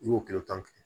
I y'o kile tan